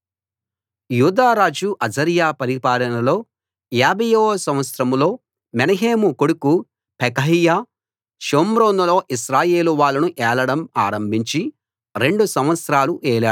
యూదారాజు అజర్యా పరిపాలనలో 50 వ సంవత్సరంలో మెనహేము కొడుకు పెకహ్యా షోమ్రోనులో ఇశ్రాయేలు వాళ్ళను ఏలడం ఆరంభించి రెండు సంవత్సరాలు ఏలాడు